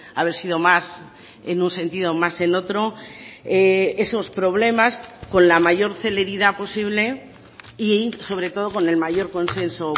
haber sido más en un sentido o más en otro esos problemas con la mayor celeridad posible y sobre todo con el mayor consenso